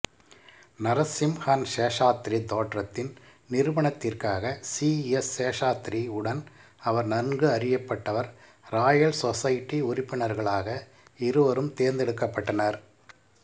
நரசிம்ஹன்சேஷாத்ரி தேற்றத்தின் நிருபணத்திற்காக C S Seshadri உடன் அவர் நன்கு அறியப்பட்டவர் ராயல் சொசைட்டி உறுப்பினர்களாக இருவரும் தேர்ந்தெடுக்கப்பட்டனர்